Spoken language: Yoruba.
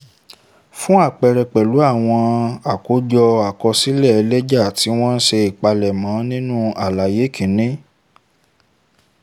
fún àpẹẹrẹ pẹ̀lú àwọn àkójọ àkọsílẹ̀ lẹ́jà tí wọ́n ṣe ìpalẹ̀mọ́ nínú àlàyé kìíní